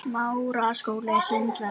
Dóttir hennar er Marta nemi.